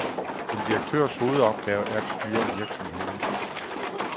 En direktørs hovedopgave er at styre virksomheden.